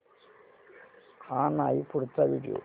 हा नाही पुढचा व्हिडिओ